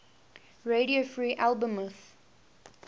radio free albemuth